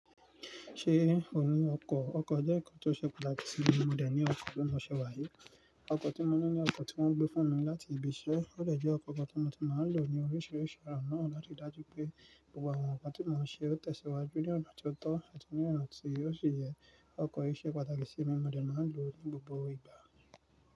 Ṣé ò ní ọkọ̀? Ọkọ̀ jẹ́ nǹkan tó ṣe pàtàkì sí mí mọ̀dè ní ọkọ̀ bi mọ ṣẹ́ wàá yii Ọkọ̀ tí mo ní ni ọkọ̀ tí wọ́n gbé fún mi láti ibi iṣẹ́. Ó lè jẹ́ ọkọ̀ kan tí mo ti máa lò ní oríṣiríṣi ọ̀nà láti dájú pé gbogbo àwọn ǹkan tí mo máa ṣe ó tẹ̀síwájú ní ọ̀nà tío tọ́ àti ní ọ̀nà tío si yẹ. Ọkọ̀ yìí ṣe pàtàkì sí mí mọ̀dè máa ń lò ó ní gbogbo ìgbà.